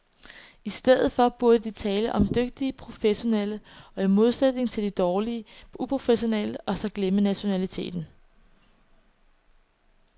I stedet for burde de tale om de dygtige professionelle i modsætning til de dårlige uprofessionelle og så glemme nationaliteten.